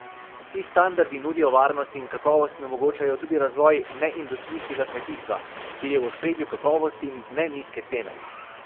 Ti standardi nudijo varnost in kakovost in omogočajo tudi razvoj neindustrijskega kmetijstva, kjer je v ospredju kakovost in ne nizke cene.